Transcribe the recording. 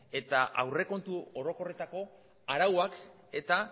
eta aurrekontu orokorretako arauak eta